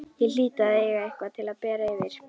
Ég hlýt að eiga eitthvað til að bera yfir.